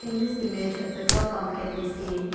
In this image a petrol pump can be seen.